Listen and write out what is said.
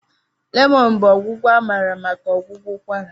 lemon bụ ọgwụgwọ amara maka ọgwụgwọ ụkwara.